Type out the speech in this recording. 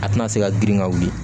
A tɛna se ka girin ka wuli